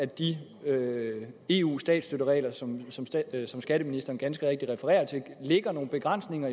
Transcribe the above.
de eu statsstøtteregler som som skatteministeren ganske rigtigt refererer til lægger nogle begrænsninger